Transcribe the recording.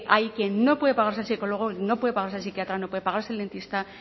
hay quien no puede pagarse el psicólogo no puede pagarse el psiquiatra no puede pagarse el dentista